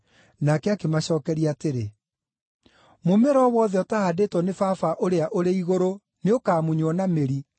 Nake akĩmacookeria atĩrĩ, “Mũmera o wothe ũtaahandĩtwo nĩ Baba ũrĩa ũrĩ igũrũ nĩũkamunywo na mĩri.